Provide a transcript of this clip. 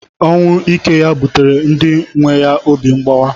Ọnwụ ike ya buteere ndi nwe ya obi mgbawa.